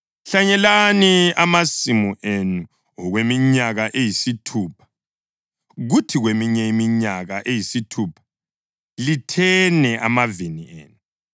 Hlanyelani amasimu enu okweminyaka eyisithupha, kuthi kweminye iminyaka eyisithupha lithene amavini enu.